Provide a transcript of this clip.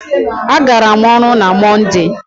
A gara m ọrụ na Mọnde.